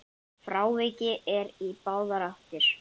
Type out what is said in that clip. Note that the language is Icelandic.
Frávik eru í báðar áttir.